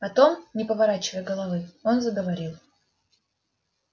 потом не поворачивая головы он заговорил